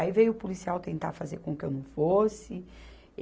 Aí veio o policial tentar fazer com que eu não fosse.